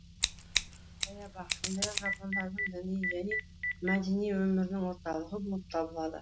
саябақ сондай ақ жапондардың діни және мәдини өмірінің орталығы болып табылады